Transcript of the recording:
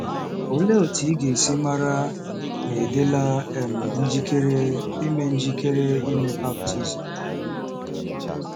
Olee otú ị ga-esi mara ma ị dịla um njikere ime njikere ime baptizim?